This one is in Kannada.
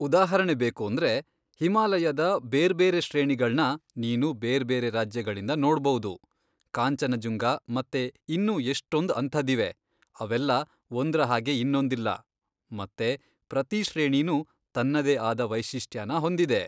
ಉದಾಹರಣೆ ಬೇಕೂಂದ್ರೆ ಹಿಮಾಲಯದ ಬೇರ್ಬೇರೆ ಶ್ರೇಣಿಗಳ್ನ ನೀನು ಬೇರ್ಬೇರೆ ರಾಜ್ಯಗಳಿಂದ ನೋಡ್ಬೌದು, ಕಾಂಚನಜುಂಗ ಮತ್ತೆ ಇನ್ನೂ ಎಷ್ಟೊಂದ್ ಅಂಥದ್ದಿವೆ, ಅವೆಲ್ಲ ಒಂದ್ರ ಹಾಗೆ ಇನ್ನೊಂದಿಲ್ಲ ಮತ್ತೆ ಪ್ರತೀ ಶ್ರೇಣಿನೂ ತನ್ನದೇ ಆದ ವೈಶಿಷ್ಟ್ಯನ ಹೊಂದಿದೆ.